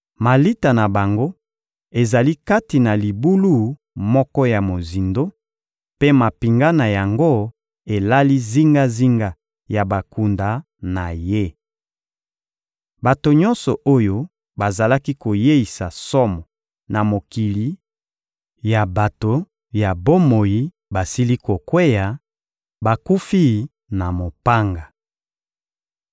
Malita na bango ezali kati na libulu moko ya mozindo, mpe mampinga na yango elali zingazinga ya bakunda na ye. Bato nyonso oyo bazalaki koyeisa somo na mokili ya bato ya bomoi basili kokweya, bakufi na mopanga.